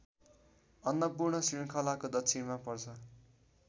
अन्नपूर्ण श्रृङ्खलाको दक्षिणमा पर्छ